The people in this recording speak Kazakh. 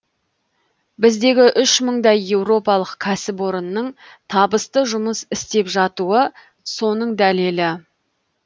біздегі үш мыңдай еуропалық кәсіпорынның табысты жұмыс істеп жатуы соның дәлелі